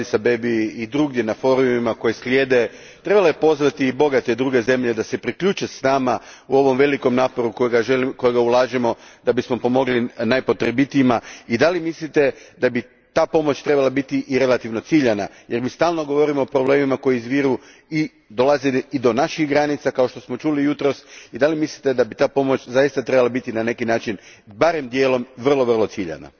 u Adis Abebi i drugdje na forumima koji slijede, trebala pozvati druge bogate zemlje da se priključe nama u ovom velikom naporu kojega ulažemo da bismo pomogli najpotrebitijima, i mislite li da bi ta pomoć trebala biti i relativno ciljana, jer mi stalno govorimo o problemima koji izviru i dolaze do naših granica, kao što smo čuli jutros, i mislite li da bi ta pomoć zaista trebala biti na neki način, barem dijelom, vrlo ciljana?